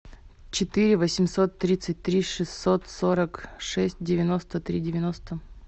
четыре восемьсот тридцать три шестьсот сорок шесть девяносто три девяносто